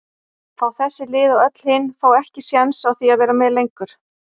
fá þessi lið og öll hin fá ekki séns á því að vera með lengur?